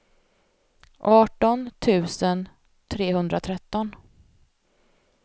arton tusen trehundratretton